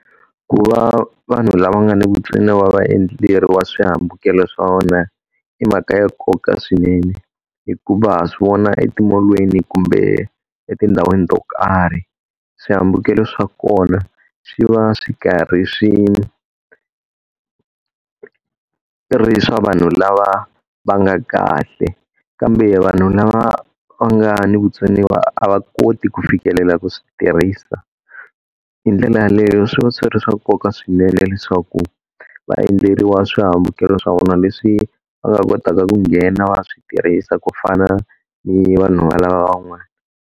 Ku va vanhu lava nga ni vutsoniwa va endleriwa swihambukelo swa vona i mhaka ya nkoka swinene. Hikuva swi vona eti-mall-lweni kumbe etindhawini to karhi, swihambukelo swa kona swi va swi karhi swi ri swa vanhu lava va nga kahle. Kambe vanhu lava va nga na vutsoniwa a va koti ku fikelela ku swi tirhisa. Hi ndlela yaleyo swi va swi ri swa nkoka swinene leswaku va endleriwa swihambukelo swa vona leswi va nga kotaka ku nghena swi tirhisa ku fana ni vanhu lava van'wana.